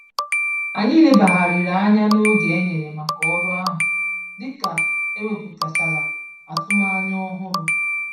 Anyị lebagharịrị anya n'oge enyere màkà ọrụ ahụ, dịka ekwuputachara atụmanya ọhụrụ